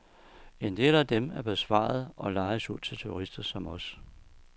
En del af dem er bevaret, og lejes ud til turister som os.